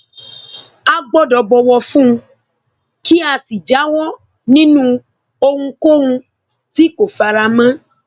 a gbọdọ bọwọ fún un kí a sì jáwọ nínú ohunkóhun tí kò fara mọ